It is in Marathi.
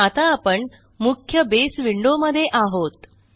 आता आपण मुख्य बसे विंडो मध्ये आहोत